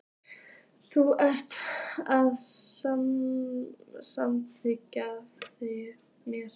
Þú ert að mannast, þykir mér.